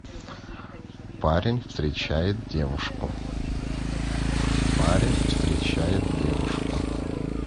парень встречает девушку парень встречает девушку